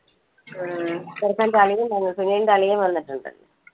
ആഹ് ചെറുക്കന്റെ അളിയൻ വന്നിട്ടുണ്ട് സുനിലിന്റെ അളിയൻ വന്നിട്ടുണ്ട്.